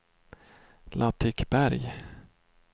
Latikberg